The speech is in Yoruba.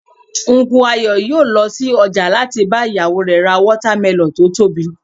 Unku Ayo yòó lọ sí ọjà láti bá ìyàwó rẹ̀ ra watermelon tó tóbi